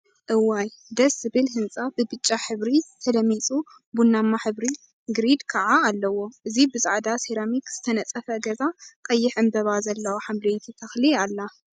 እዋይ! ደስ ዝብል ህንጻ ብብጫ ሕብሪ ተለሚጹ ቡናማ ሕብሪ ግሪድ ከዓ ኣለዎ። እዚ ብጻዕዳ ሰራሚክ ዝተነጸፈ ገዛ ቀይሕ ዕምብባ ዘለዋ ሓምለወይቲ ተክሊ ኣላ።